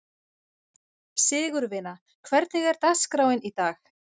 Sigurvina, hvernig er dagskráin í dag?